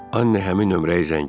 Anne həmin nömrəyə zəng etdi.